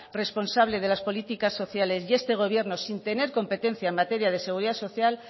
responsable de las políticas sociales y este gobierno sin tener competencia en materia de seguridad social